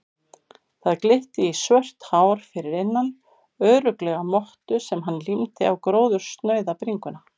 Það glitti í svört hár fyrir innan, örugglega mottu sem hann límdi á gróðursnauða bringuna.